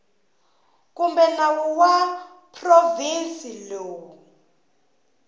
kumbe nawu wa provhinsi lowu